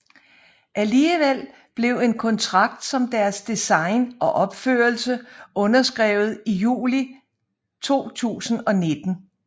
Alligevel blev en kontrakt om deres design og opførelse underskrevet i juli 2019